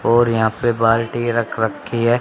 और यहाँ पे बाल्टी रख रखीं हैं।